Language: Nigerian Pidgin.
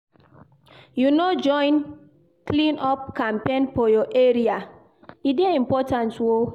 You no go join clean-up campaign for your area? e dey important o.